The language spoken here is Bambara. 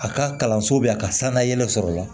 A ka kalanso bɛ yen a ka sangalen sɔrɔ o la